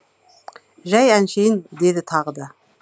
жай әншейін деді тағы да